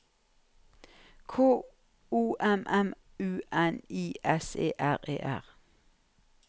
K O M M U N I S E R E R